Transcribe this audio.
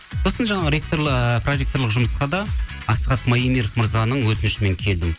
сосын жаңағы ы проректорлық жұмысқа да асхат маемиров мырзаның өтінішімен келдім